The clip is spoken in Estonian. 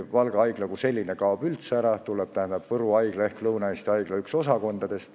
Valga Haigla kui selline kaob üldse ära, sellest tuleb Võrus asuva Lõuna-Eesti Haigla üks osakond.